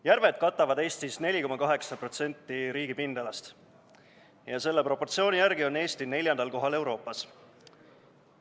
Järved katavad Eestis 4,8% riigi pindalast ja selle proportsiooni järgi on Eesti neljandal kohal Euroopas.